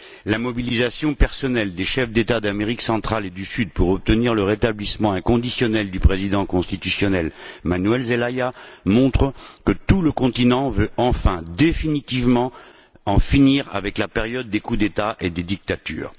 La mobilisation personnelle des chefs d'État d'Amérique centrale et du Sud pour obtenir le rétablissement inconditionnel du président constitutionnel Manuel Zelaya montre que tout le continent veut en finir définitivement avec la période des coups d'État et des dictatures.